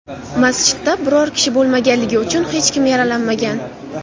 Masjidda biror kishi bo‘lmaganligi uchun hech kim yaralanmagan.